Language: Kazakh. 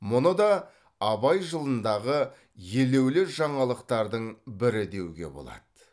мұны да абай жылындағы елеулі жаңалықтардың бірі деуге болады